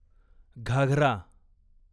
Ghaghara